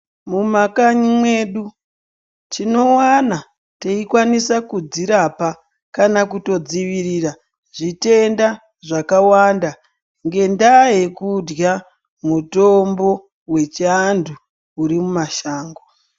Mumakanyi mwedu tinowana teikwanisa kudzirapa kana kutodzivirira zvitenda zvakawanda ngendaa yekurya mutombo wechiantu urimumashango.